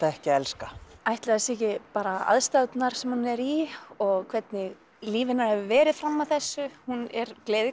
ekki að elska ætli það séu ekki bara aðstæðurnar sem hún er í og hvernig líf hennar hefur verið fram að þessu hún er